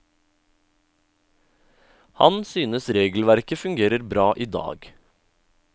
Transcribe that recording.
Han synes regelverket fungerer bra i dag.